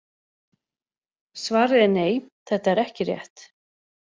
Svarið er nei: Þetta er ekki rétt.